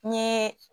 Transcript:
N ye